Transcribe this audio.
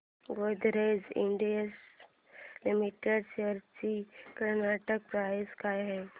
Godrej Industries Limited shares ची current price काय आहे